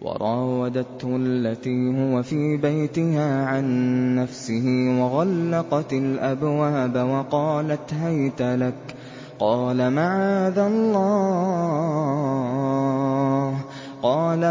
وَرَاوَدَتْهُ الَّتِي هُوَ فِي بَيْتِهَا عَن نَّفْسِهِ وَغَلَّقَتِ الْأَبْوَابَ وَقَالَتْ هَيْتَ لَكَ ۚ قَالَ